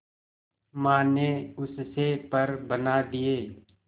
मां ने उससे पर बना दिए